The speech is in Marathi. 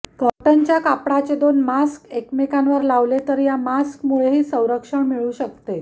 कॉटनच्या कापडाचे दोन मास्क एकमेकांवर लावले तर या मास्कमुळेही संरक्षण मिळू शकते